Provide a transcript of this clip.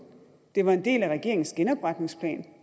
det var en del af regeringens genopretningsplan